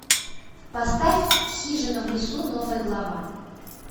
поставь хижина в лесу новая глава